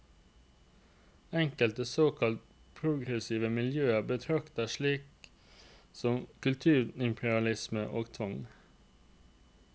Enkelte såkalt progressive miljøer betraktet slikt som kulturimperialisme og tvang.